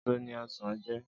Ésó ni òsán jè